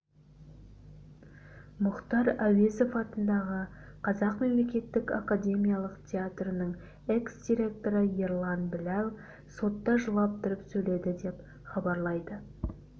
мұхтар әуезов атындағы қазақ мемлекеттік академиялық театрының экс-директоры ерлан біләл сотта жылап тұрып сөйледі деп хабарлайды